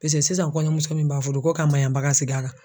sisan kɔɲɔmuso min b'a fudu ko ka maɲabaga sigi a la.